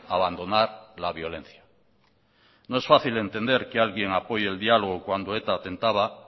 abandonar la violencia no es fácil entender que alguien apoye el diálogo cuando eta atentaba